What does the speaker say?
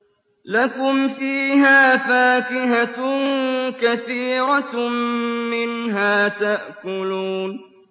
لَكُمْ فِيهَا فَاكِهَةٌ كَثِيرَةٌ مِّنْهَا تَأْكُلُونَ